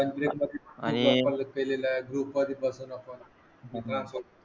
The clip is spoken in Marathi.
ग्रुपमध्ये बसून आपण